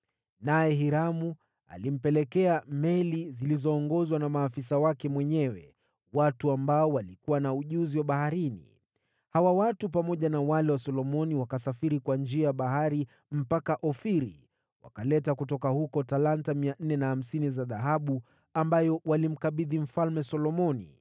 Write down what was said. Naye Hiramu alimpelekea meli zilizoongozwa na maafisa wake mwenyewe, watu waliokuwa na ujuzi wa baharini. Hawa watu pamoja na wale wa Solomoni wakasafiri kwa bahari mpaka Ofiri, wakaleta kutoka huko talanta 450 za dhahabu, ambazo walimkabidhi Mfalme Solomoni.